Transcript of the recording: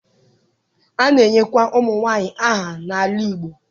a na-enyekwa ụmụnwaanyị aha n'ala Igbo.